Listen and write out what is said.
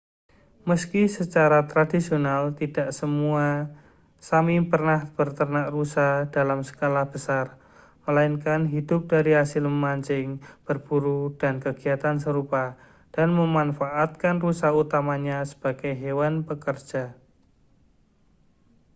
meski secara tradisional tidak semua sã¡mi pernah beternak rusa dalam skala besar melainkan hidup dari hasil memancing berburu dan kegiatan serupa dan memanfaatkan rusa utamanya sebagai hewan pekerja